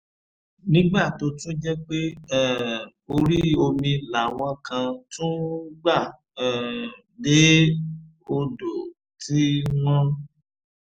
nígbà tó tún jẹ́ pé um orí omi làwọn kan tún ń gbà um dé odò tí wọ́n